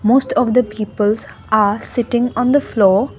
most of the peoples are sitting on the floor.